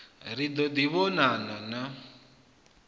ri ḓo ḓi vhonana na